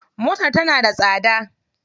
Motar tana da tsada.